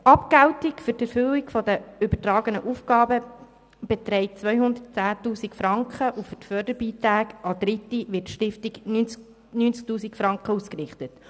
Die Abgeltung für die Erfüllung der übertragenen Aufgaben beträgt 210 000 Franken, und für Förderbeiträge an Dritte werden der Stiftung 90 000 Franken ausgerichtet.